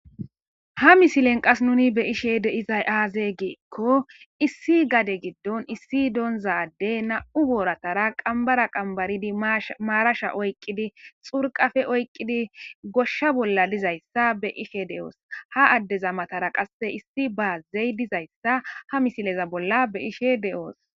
Ha misilen nuni be'ishe de'izay aaze giza gidikko issi gaden giddon issi donza addey nami'u booratara qambara qambaridi maarasha oyqqidi xurqafe oyqqidi goshsha bolla dizayssa be'ishe de'os. Ha addeza matara qasse issi baaze de'izayssa ha misileza bolla be'ishe de'os.